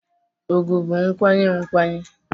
ùgwù bụ nkwanye nkwanye